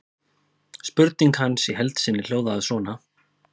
Spurning hans í heild sinni hljóðaði svona: